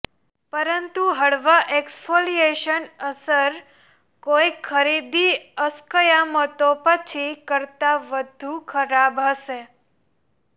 પરંતુ હળવા એક્સ્ફોલિયેશન અસર કોઈ ખરીદી અસ્કયામતો પછી કરતાં વધુ ખરાબ હશે